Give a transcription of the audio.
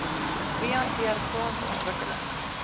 wie hanteer grondontwikkeling